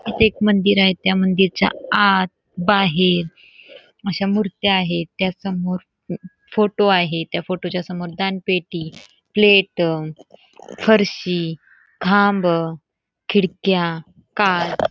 एक मंदिर आहे त्या मंदिरच्या आत बाहेर अश्या मुर्त्या आहेत त्या समोर फोटो आहे त्या फोटोच्या समोर दानपेटी प्लेट फरशी खांब खिडक्या काच --